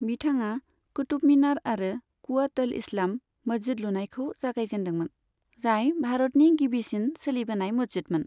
बिथाङा कुतुब मीनार आरो कुवत अल इस्लाम मस्जिद लुनायखौ जागायजेन्दोंमोन, जाय भारतनि गिबिसिन सोलिबोनाय मस्जिदमोन।